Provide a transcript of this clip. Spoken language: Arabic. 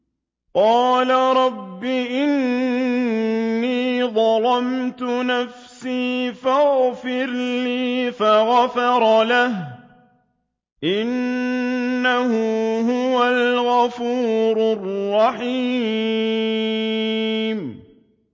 قَالَ رَبِّ إِنِّي ظَلَمْتُ نَفْسِي فَاغْفِرْ لِي فَغَفَرَ لَهُ ۚ إِنَّهُ هُوَ الْغَفُورُ الرَّحِيمُ